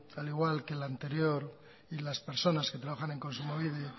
al igual que la anterior y las personas que trabajan en kontsumobide